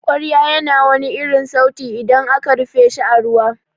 kwarya ya na wani sauti idan aka rufe shi a ruwa.